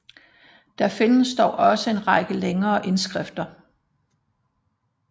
Der findes dog også en række længere indskrifter